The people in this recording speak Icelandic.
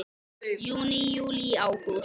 Júní Júlí Ágúst